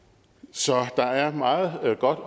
så der er meget godt